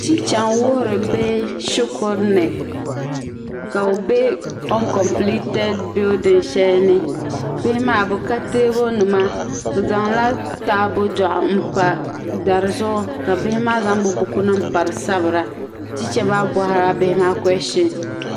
techa n wuhiri bihi shikuruni kabi be an kopleted bilding shalini bihi maa bɛ ka teebuli ni ma taabɔdɔɣu n pa dari zuɣu kabihimaa zaŋ bi bukunima di zuɣu sabira techa maa bɔhiri la bihi ma koishins